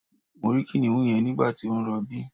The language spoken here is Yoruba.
Mo rí kìnìún yẹn nígbàtí ó ń rọbí